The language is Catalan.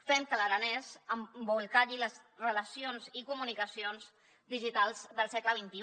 fem que l’aranès embolcalli les relacions i comunicacions digitals del segle xxi